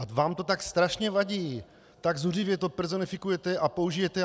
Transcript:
A vám to tak strašně vadí, tak zuřivě to personifikujete a použijete.